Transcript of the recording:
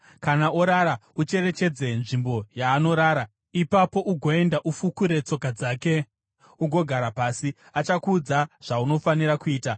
Kana orara, ucherechedze nzvimbo yaanorara. Ipapo ugoenda ufukure tsoka dzake ugorara pasi. Achakuudza zvaunofanira kuita.”